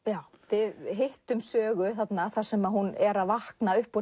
við hittum Sögu þar sem hún er að vakna upp úr